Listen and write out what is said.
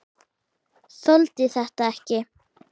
Þoldi þetta ekki!